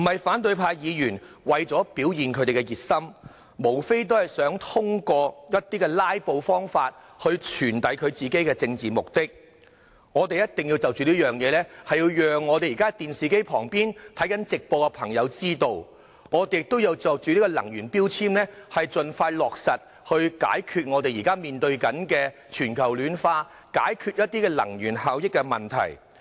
反對派議員並非為了表現他們的熱心，而是想透過"拉布"來達到其政治目的，我們一定要讓在電視機旁看直播的市民認識這一點，也要盡快落實能源標籤，解決現正面對的全球暖化及能源效益問題。